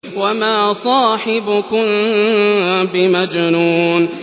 وَمَا صَاحِبُكُم بِمَجْنُونٍ